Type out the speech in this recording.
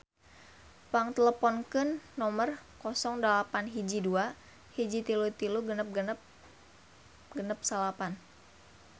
Pang teleponkeun nomer 08121336669